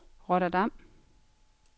Rotterdam